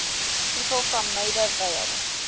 people from maida vale